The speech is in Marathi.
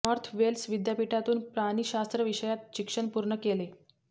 नॅार्थ वेल्स विद्यापीठातून प्राणिशास्त्र विषयात शिक्षण पूर्ण केले